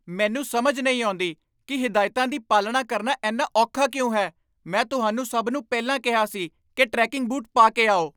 ਮੈਨੂੰ ਸਮਝ ਨਹੀਂ ਆਉਂਦੀ ਕਿ ਹਦਾਇਤਾਂ ਦੀ ਪਾਲਣਾ ਕਰਨਾ ਇੰਨਾ ਔਖਾ ਕਿਉਂ ਹੈ। ਮੈਂ ਤੁਹਾਨੂੰ ਸਭ ਨੂੰ ਪਹਿਲਾਂ ਕਿਹਾ ਸੀ ਕਿ ਟ੍ਰੈਕਿੰਗ ਬੂਟ ਪਾ ਕੇ ਆਓ।